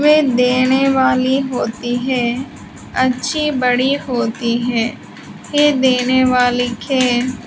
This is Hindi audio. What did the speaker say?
देने वाली होती है अच्छी बड़ी होती है ये देने वाली खे --